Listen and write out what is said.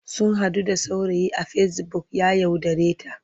Sun haɗu da saurayi a fesibuk ya yaudareta.